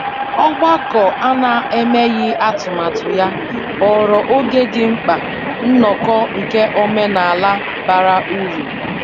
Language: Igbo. Ọgbakọ a na-emeghị atụmatụ ya ghọrọ oge di mkpa nnoko nke omenala bara uru.